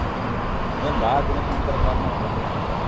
ಹ್ಮ್ ಏನ್ ಬಾಳ ದಿನದ್ ನಂತ್ರ call ಮಾಡ್ರಿ?